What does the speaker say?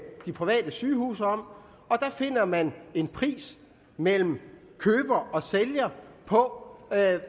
de private sygehuse om og der finder man en pris mellem køber og sælger på hvad